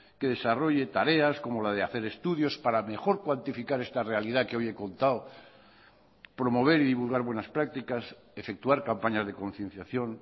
que desarrolle tareas como la de hacer estudios para mejor cuantificar esta realidad que hoy he contado promover y divulgar buenas prácticas efectuar campañas de concienciación